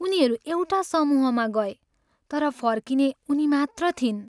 उनीहरू एउटा समूहमा गए तर फर्किने उनीमात्र थिइन्।